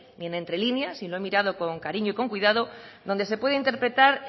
ni entrelíneas y lo he mirado con cariño y con cuidado donde se puede interpretar